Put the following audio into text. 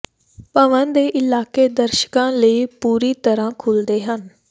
ਭਵਨ ਦੇ ਇਲਾਕੇ ਦਰਸ਼ਕਾਂ ਲਈ ਪੂਰੀ ਤਰ੍ਹਾਂ ਖੁੱਲ੍ਹਦੇ ਹਨ